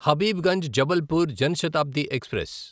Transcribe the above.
Habibganj Jabalpur Jan Shatabdi express